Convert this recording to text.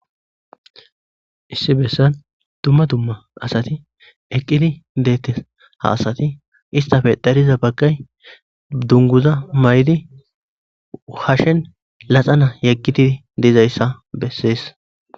Issi bessan dumma dumma asati eqqidi deettes haasati istafe dariza baggay dunguza may'di hashshen laxana yeqqiti dezayssa bessees.